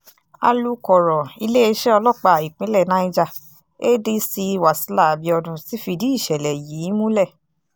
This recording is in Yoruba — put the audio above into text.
alūkọ̀rọ̀ iléeṣẹ́ ọlọ́pàá ìpínlẹ̀ niger adc wasila abiodun ti fìdí ìṣẹ̀lẹ̀ yìí múlẹ̀